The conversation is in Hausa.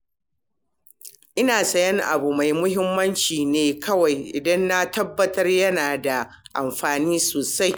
Ina sayan abu mai mahimmanci ne kawai idan na tabbatar da yana da amfani sosai.